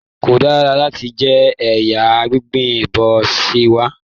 Ko dára láti jẹ ẹja gbígbẹ bo se wa.